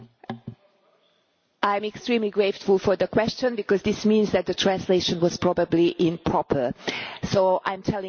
I am extremely grateful for the question because this means that the translation was probably improper, so I am telling it now in English.